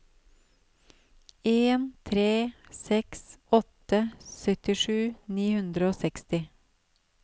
en tre seks åtte syttisju ni hundre og seksti